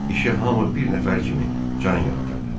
İşə hamı bir nəfər kimi can yandırdı.